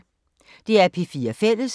DR P4 Fælles